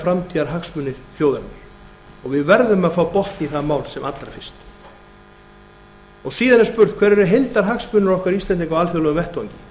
framtíðarhagsmuni þjóðarinnar og við verðum að fá botn í það mál sem allra fyrst síðan er spurt hverjir eru heildarhagsmunir okkar íslendinga á alþjóðlegum vettvangi